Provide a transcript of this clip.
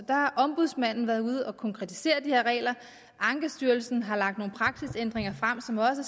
ombudsmanden har været ude at konkretisere de her regler ankestyrelsen har lagt nogle praksisændringer frem som også